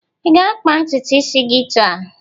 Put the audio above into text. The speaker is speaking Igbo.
Ị ga-akpa ntutu isi gị taa?